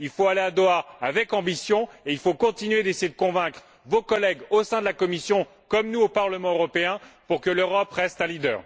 Il faut aller à Doha avec ambition et il faut continuer d'essayer de convaincre vos collègues, au sein de la Commission, comme nous au Parlement européen, pour que l'Europe reste un leader.